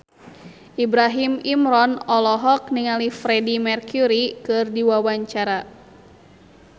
Ibrahim Imran olohok ningali Freedie Mercury keur diwawancara